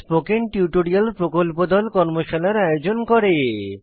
spoken tutorial প্রকল্প দল tutorial ব্যবহার করে কর্মশালার আয়োজন করে